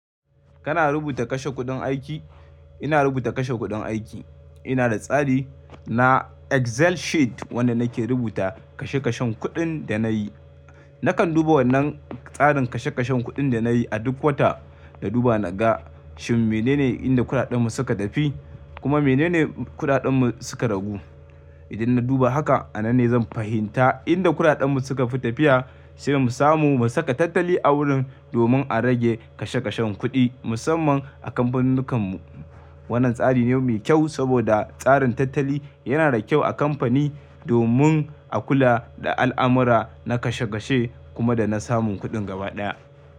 Kana rubuta kashe kuɗin aiki? Ina rubuta kashe kuɗin aiki. Ina da tsari na Excel sheet wanda nake rubuta kashe kashen kuɗin da na yi. Nakan duba wannan tsarin kashe kashen kuɗin da na yi a duk wata, na duba na ga shin menene inda kuɗaɗen mu suka tafi kuma menene kuɗaɗen mu suka ragu. Idan na duba haka, a nan ne zan fahimta inda kuɗaɗen mu suka fi tafiya sai mu samu mu saka tattali a wurin domin a rage kashe kashen kuɗi musamman a kamfaninnikan mu. Wannan tsari ne mai kyau saboda tsarin tattali yana da kyau a kamfani domin a kula da al'amura na kashe kashe kuma da na samun kuɗin gaba ɗaya.